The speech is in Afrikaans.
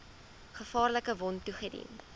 gevaarlike wond toegedien